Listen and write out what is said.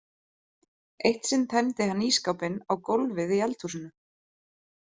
Eitt sinn tæmdi hann ísskápinn á gólfið í eldhúsinu.